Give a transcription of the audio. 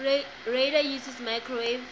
radar uses microwave